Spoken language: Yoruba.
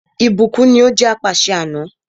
Ìbùkún ní o jẹ́ apàṣẹ ni àná.